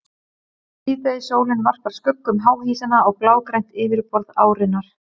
Síðdegissólin varpar skuggum háhýsanna á blágrænt yfirborð árinnar.